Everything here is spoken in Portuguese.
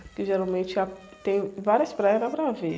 Porque geralmente é a, tem várias praias, dá para ver.